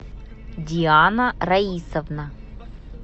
диана раисовна